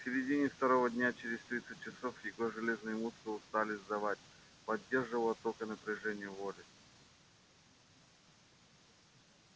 к середине второго дня через тридцать часов его железные мускулы стали сдавать поддерживало только напряжение воли